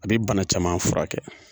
A bi bana caman furakɛ